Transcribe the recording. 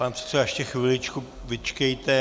Pane předsedo, ještě chviličku vyčkejte.